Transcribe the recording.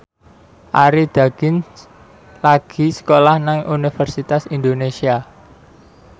Arie Daginks lagi sekolah nang Universitas Indonesia